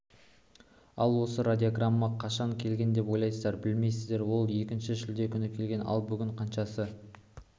ал осы радиограмма қашан келген деп ойлайсыздар білмейсіздер он екінші шілде күні келген ал бүгін қаншасы